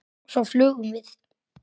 Og svo flugum við.